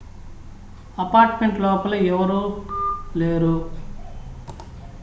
apartment లోపల ఎవరూ లేరు